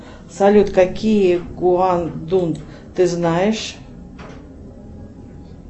салют какие гуандун ты знаешь